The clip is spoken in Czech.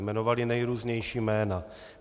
Jmenovali nejrůznější jména.